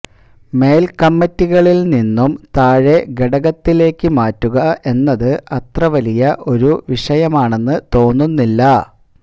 മേല്ക്കമ്മറ്റികളില് നിന്നും താഴേ ഘടകത്തിലേക്ക് മാറ്റുക എന്നത് അത്ര വലിയ ഒരു വിഷയമാണെന്ന് തോന്നുന്നില്ല